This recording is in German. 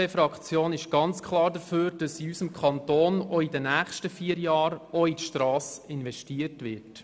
Die SVPFraktion ist klar dafür, dass in unserem Kanton während der nächsten vier Jahre auch in die Strassen investiert wird.